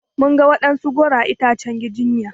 Mun ga waɗansu goro a itacen giginya.